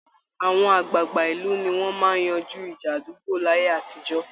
Àwọn àgbàgbà ìlú ni wọ́n máa ń yanjú ìjà àdúgbò láyé àtijọ́